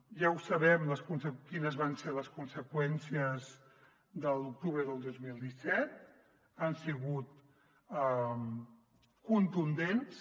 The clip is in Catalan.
ja sabem quines van ser les conseqüències de l’octubre del dos mil disset han sigut contundents